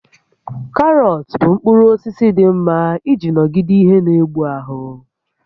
Karọt bụ mkpụrụ osisi dị mma iji nọgide ihe n'egbu ahụ